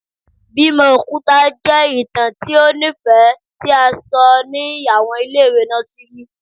Bimo okuta jẹ itan ti o nifẹ ti a sọ ni awọn ile-iwe nọsìrì